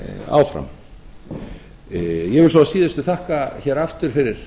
áfram ég vil svo að síðustu þakka hér aftur fyrir